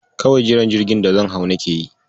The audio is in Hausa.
Kawai jiran jirgin da zan hau nake yi.